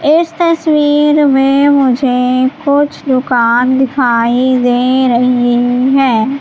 इस तस्वीर में मुझे कुछ दुकान दिखाई दे रही है।